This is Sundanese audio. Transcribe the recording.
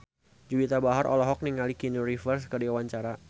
Juwita Bahar olohok ningali Keanu Reeves keur diwawancara